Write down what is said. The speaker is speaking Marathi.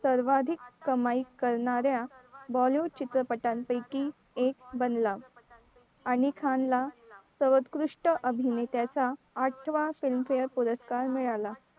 सर्वाधिक कमाई करणाऱ्या bollywood चित्रपटांपैकी एक बनला आणि खान ला सर्वोत्कृष्ट अभिनेत्याचा आठवा film fare पुरस्कार मिळाला